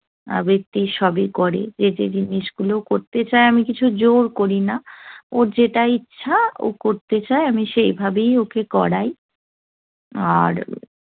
আবৃত্তি সবই করে। যে যে জিনিসগুলো করতে চায়, আমি কিছু জোড় করিনা। ওর যেটা ইচ্ছা, ও করতে চায়, আমি সেইভাবেই ওকে করাই। আর